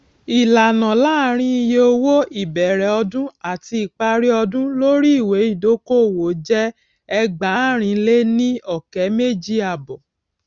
ìyàtọ láàárín iye owó ìbẹrẹ ọdún àti ìparí ọdún lórí ìwé ìdókòwò jẹẹgbàárìnléníọkẹméjìàbọ